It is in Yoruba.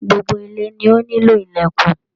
Gbogbo ile ni o nílò ìlèkùn.